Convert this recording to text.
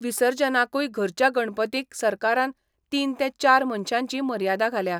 विसर्जनाकूय घरच्या गणपतींक सरकारान तीन ते चार मनशांची मर्यादा घाल्या.